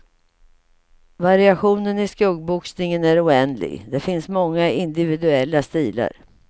Variationen i skuggboxningen är oändlig, det finns många individuella stilar.